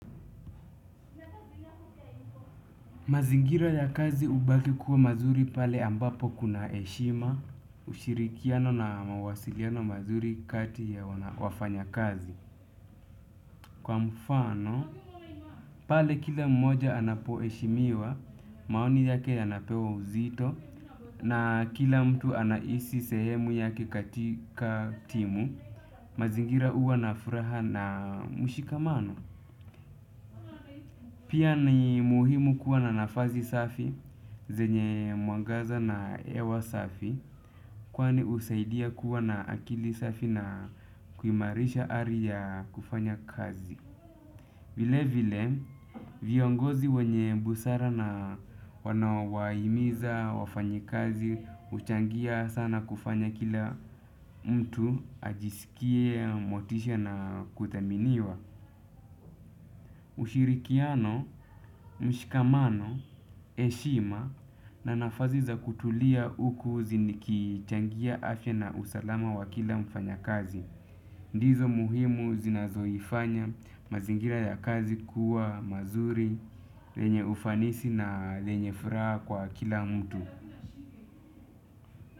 Mazingira ya kazi hubaki kuwa mazuri pale ambapo kuna heshima, ushirikiano na mawasiliano mazuri kati ya wafanyakazi. Kwa mfano, pale kila mmoja anapoheshimiwa, maoni yake yanapewa uzito, na kila mtu anahisi sehemu yake katika timu, mazingira huwa na furaha na mshikamano. Pia ni muhimu kuwa na nafazi safi, zenye mwangaza na hewa safi, kwani husaidia kuwa na akili safi na kuimarisha ari ya kufanya kazi. Vile vile, viongozi wenye busara na wanawahimiza wafanyikazi, huchangia sana kufanya kila mtu, ajisikie, motisha na kuthaminiwa. Ushirikiano, mshikamano, heshima na nafasi za kutulia huku zinikichangia afya na usalama wa kila mfanyakazi. Ndizo muhimu zinazoifanya mazingira ya kazi kuwa mazuri, lenye ufanisi na lenye furaha kwa kila mtu.